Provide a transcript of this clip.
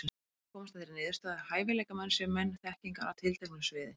Ég hef komist að þeirri niðurstöðu, að hæfileikamenn séu menn þekkingar á tilteknu sviði.